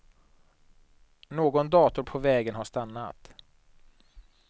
Någon dator på vägen har stannat.